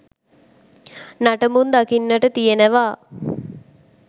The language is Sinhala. නටඹුන් දකින්නට තියනවා.